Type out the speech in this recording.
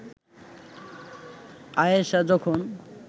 আয়েষা যখন